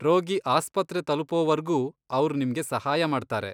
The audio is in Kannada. ರೋಗಿ ಆಸ್ಪತ್ರೆ ತಲುಪೋವರ್ಗೂ ಅವ್ರ್ ನಿಮ್ಗೆ ಸಹಾಯ ಮಾಡ್ತಾರೆ.